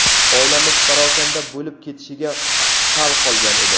Oilamiz parokanda bo‘lib ketishiga sal qolgan edi.